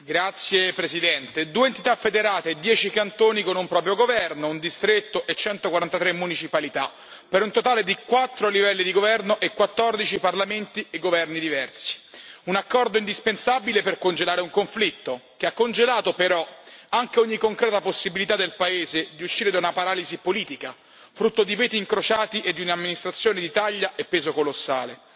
Signor Presidente, onorevoli colleghi, due entità federate e dieci cantoni con un proprio governo, un distretto e 143 municipalità, per un totale di quattro livelli di governo e quattordici parlamenti e governi diversi. Un accordo indispensabile per congelare un conflitto che ha congelato però anche ogni concreta possibilità del paese di uscire da una paralisi politica, frutto di veti incrociati e di un'amministrazione di taglia e peso colossale.